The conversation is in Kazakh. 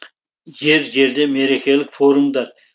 жер жерде мерекелік форумдар